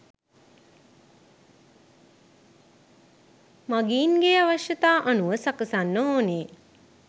මගීන්ගේ අවශ්‍යතා අනුව සකසන්න ඕන